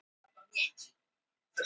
Móðirin Sif Ólafsdóttir!